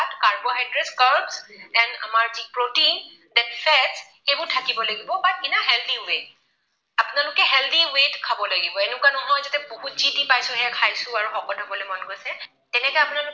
Carbohydrate, carb and আমাৰ যি protein, that's said সেইবোৰ থাকিব লাগিব, but in a healthy way আপোনালোকে healthy way ত খাব লাগিব, এনেকুৱা নহয় যাতে বহুত যি পাইছো সেয়া খাইছো আৰু শকত হবলৈ মন গৈছে। তেনেকৈ আপোনালোকে খালে